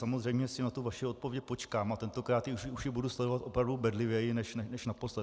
Samozřejmě si na tu vaši odpověď počkám a tentokrát už ji budu sledovat opravdu bedlivěji než naposled.